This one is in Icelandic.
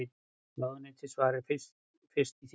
Ráðuneyti svari fyrst í þinginu